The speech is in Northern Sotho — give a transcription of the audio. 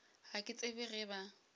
ga ke tsebe ge ba